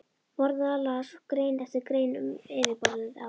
Borðaði og las grein eftir grein um yfirborðið á